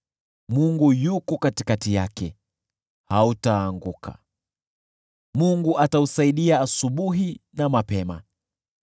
Mungu yuko katikati yake, hautaanguka, Mungu atausaidia asubuhi na mapema.